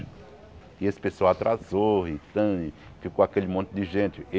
E esse pessoal atrasou, e tome, ficou aquele monte de gente.